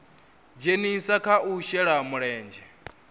dzhenisa kha u shela mulenzhe